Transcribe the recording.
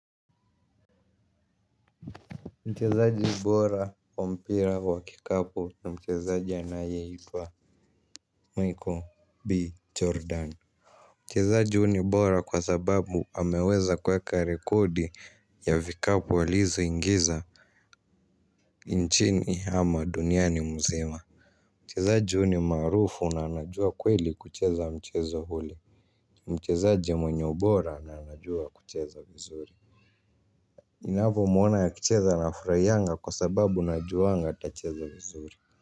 Mchezaji bora, kwa mpira wa kikapu na mchezaji anaye itwa Michael B. Jordan. Mchezaji huu ni bora kwa sababu ameweza kuweka rekodi ya vikapu alizo ingiza nchini ama duniani mzima. Mchezaji uni marufu na anajua kweli kucheza mchezo huli. Mchezaji mwenye ubora na anajua kucheza vizuri. Ninavomuona akicheza nafuraiyanga kwa sababu najuanga atacheza vizuri.